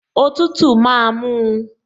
Òtútù máa mú un